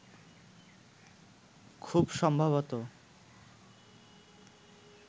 খুব সম্ভবত